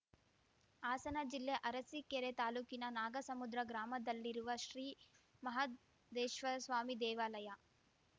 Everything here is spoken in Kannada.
ಹಾಸನ ಜಿಲ್ಲೆ ಅರಸೀಕೆರೆ ತಾಲೂಕಿನ ನಾಗಸಮುದ್ರ ಗ್ರಾಮದಲ್ಲಿರುವ ಶ್ರೀ ಮಹದೇಶ್ವರ್ ಸ್ವಾಮಿ ದೇವಾಲಯ